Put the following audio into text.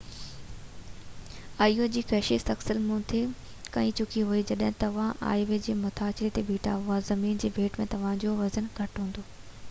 آئي او جي ڪشش ثقل مون تي ڪيئن ڇڪي ٿي جيڪڏهن توهان آئي او جي مٿاڇري تي بيٺا آهيو ته زمين جي ڀيٽ ۾ توهانجو وزن گهٽ هوندو